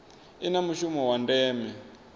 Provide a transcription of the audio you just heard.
i na mushumo wa ndeme